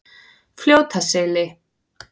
Fljótaseli